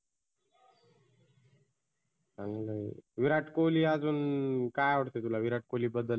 चांगल आहे. विराट कोल्ही आजुन काय आवडतं विराट कोल्ही बद्दल?